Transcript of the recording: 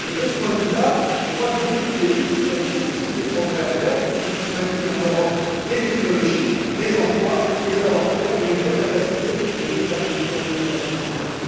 De ce point de vue là, je crois que beaucoup de pays ont également des progrès à faire pour que l'on puisse maintenir en Europe des technologies, des emplois, des savoir faire et une vraie capacité stratégique dans nos déploiements militaires.